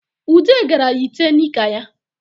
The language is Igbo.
Ude gara yite nika ya